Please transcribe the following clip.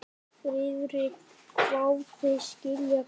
Friðrik hváði: Skilja hvað?